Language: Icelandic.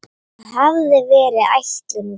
Það hafði verið ætlun van